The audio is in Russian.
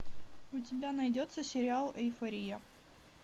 у тебя найдется сериал эйфория